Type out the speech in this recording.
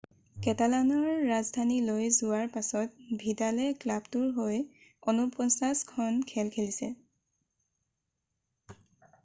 কেটালানৰ ৰাজধানীলৈ যোৱাৰ পাছত ভিডালে ক্লাবটোৰ হৈ 49 খন খেল খেলিছে